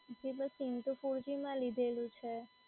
જી મેં સીમ તો four g માં લીધેલું છે.